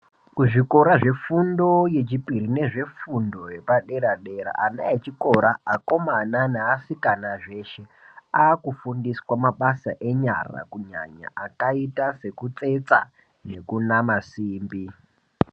Kuzvikora zvefundo yepadera nefundo yepadera dera ana echikora vechikomana Nevasikana zveshe akufundiswa mabasa anyara kunyanya akaita sekutsetsa nekunama simbi.